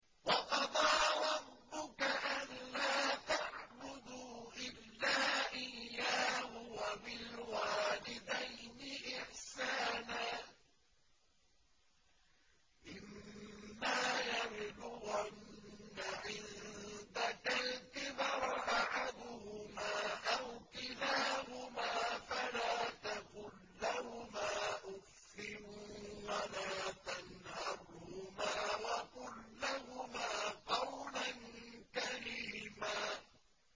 ۞ وَقَضَىٰ رَبُّكَ أَلَّا تَعْبُدُوا إِلَّا إِيَّاهُ وَبِالْوَالِدَيْنِ إِحْسَانًا ۚ إِمَّا يَبْلُغَنَّ عِندَكَ الْكِبَرَ أَحَدُهُمَا أَوْ كِلَاهُمَا فَلَا تَقُل لَّهُمَا أُفٍّ وَلَا تَنْهَرْهُمَا وَقُل لَّهُمَا قَوْلًا كَرِيمًا